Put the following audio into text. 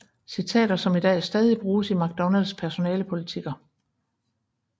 Citater som i dag stadig bruges i McDonalds personalepolitikker